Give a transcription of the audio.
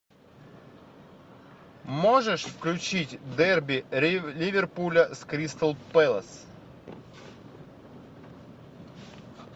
можешь включить дерби ливерпуля с кристал пэлас